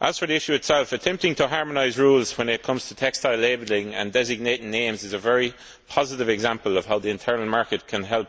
As for the issue itself, attempting to harmonise rules when it comes to textile labelling and designating names is a very positive example of how the internal market can help